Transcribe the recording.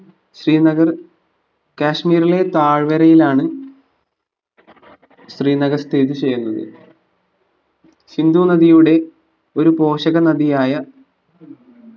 ശ്രീനഗർ കാശ്മീരിലെ തായ്‌വരയിലാണ് ശ്രീനഗർ സ്ഥിതി ചെയ്യുന്നത് സിന്ധു നദിയുടെ ഒരു പോഷക നദിയായ